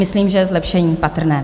Myslím, že je zlepšení patrné.